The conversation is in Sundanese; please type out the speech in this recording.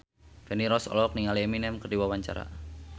Feni Rose olohok ningali Eminem keur diwawancara